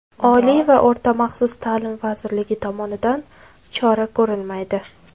Oliy va o‘rta maxsus ta’lim vazirligi tomonidan chora ko‘rilmaydi.